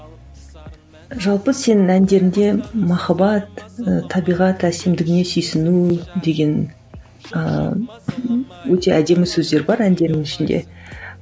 жалпы сенің әндеріңде махаббат ы табиғат әсемдігіне сүйсіну деген ыыы өте әдемі сөздер бар әндеріңнің ішінде